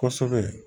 Kosɛbɛ